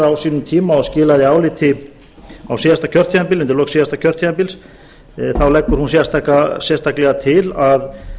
á sínum tíma og skilaði áliti undir lok síðasta kjörtímabils þá leggur hún sérstaklega til